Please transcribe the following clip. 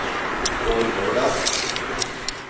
Vårgårda